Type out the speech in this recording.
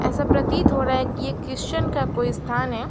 ऐसा प्रतीत हो रहा है कि यह क्रिश्चियन का कोई स्थान है।